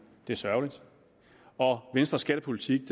det er sørgeligt venstres skattepolitik